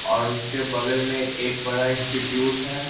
ओर उसके बगल में एक बड़ा इंस्टिट्यूट है।